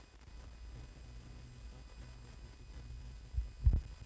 Ing pérangan ngisor dianggep suci déning masyarakat Hindhu